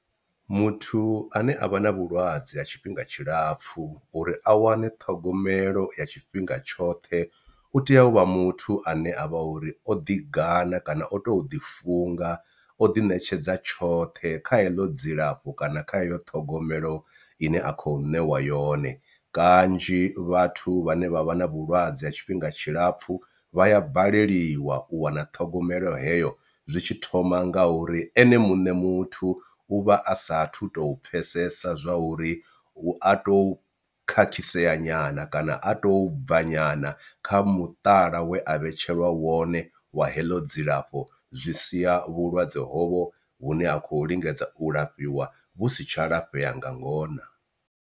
Muthu ane a vha na vhulwadze ha tshifhinga tshilapfhu uri a wane ṱhogomelo ya tshifhinga tshoṱhe u tea u vha muthu ane a vha uri o ḓi gana kana o tou ḓi funga o ḓiṋetshedza tshoṱhe kha heḽo dzilafho kana kha heyo ṱhogomelo ine a khou ṋewa yone, kanzhi vhathu vha ne vha vha na vhulwadze ha tshifhinga tshilapfhu vha ya baleliwa u wana ṱhogomelo heyo zwi tshi thoma nga uri ene mune muthu u vha a sathu to pfhesesa zwa uri u a tou khakhisea nyana kana a tou bva nyana kha muṱala we a vhetshelwa wone wa heḽo dzilafho zwi sia vhulwadze hovho vhu ne a khou lingedza u lafhiwa vhu si tsha lafhea nga ngona.